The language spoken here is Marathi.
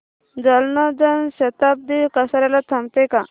जालना जन शताब्दी कसार्याला थांबते का